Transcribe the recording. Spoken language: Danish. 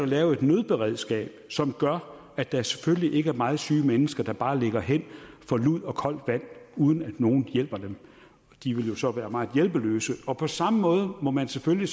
lavet et nødberedskab som gør at der selvfølgelig ikke er meget syge mennesker der bare ligger hen for lud og koldt vand uden at nogen hjælper dem de ville jo så være meget hjælpeløse på på samme måde må man selvfølgelig